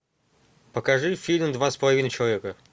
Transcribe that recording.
покажи фильм два с половиной человека